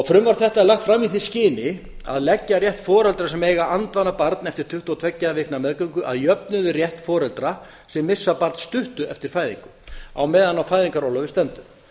frumvarp þetta er lagt fram í því skyni að leggja rétt foreldra sem eiga andvana barn eftir tuttugu og tveggja vikna meðgöngu að jöfnu við rétt foreldra sem missa barn stuttu eftir fæðingu á meðan á fæðingarorlofi stendur